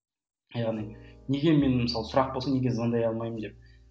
яғни неге мен мысалы сұрақ болсын неге звондай алмаймын деп